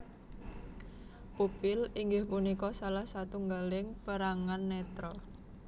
Pupil inggih punika salah satunggaling perangan netra